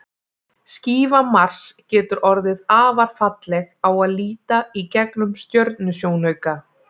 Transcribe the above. Skífa Mars getur orðið afar falleg á að líta í gegnum stjörnusjónauka.